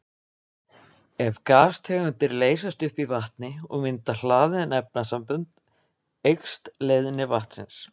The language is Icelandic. Ef gastegundir leysast upp í vatni og mynda hlaðin efnasambönd eykst leiðni vatnsins.